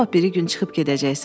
Sabah biri gün çıxıb gedəcəksən.